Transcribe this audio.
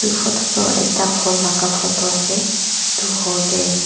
noksa toh ekta hall laga noksa ase itu hall teh.